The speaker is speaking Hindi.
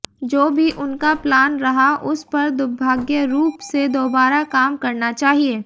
जो भी उनका प्लान रहा उस पर दुर्भाग्यरूप से दोबारा काम करना चाहिए